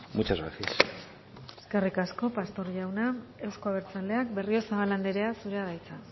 muchas gracias eskerrik asko pastor jauna euzko abertzaleak berriozabal andrea zurea da hitza